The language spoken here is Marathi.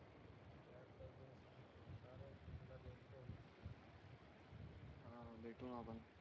हां भेटू ना आपण